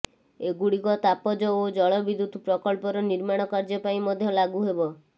ଏଗୁଡିକ ତାପଜ ଓ ଜଳ ବିଦ୍ୟୁତ ପ୍ରକଳ୍ପର ନିର୍ମାଣ କାର୍ଯ୍ୟ ପାଇଁ ମଧ୍ୟ ଲାଗୁ ହେବ